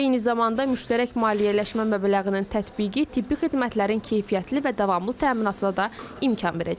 Eyni zamanda müştərək maliyyələşmə məbləğinin tətbiqi tibbi xidmətlərin keyfiyyətli və davamlı təminatına da imkan verəcək.